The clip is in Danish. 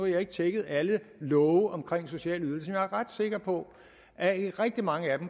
jeg ikke tjekket alle love om sociale ydelser men jeg er ret sikker på at i rigtig mange af